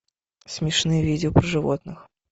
смешные видео про животных